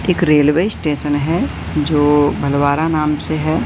एक railway station है जो भलवारा नाम से है।